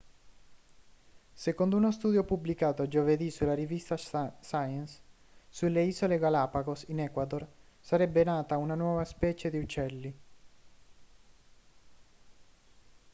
secondo uno studio pubblicato giovedì sulla rivista science sulle isole galapagos in ecuador sarebbe nata una nuova specie di uccelli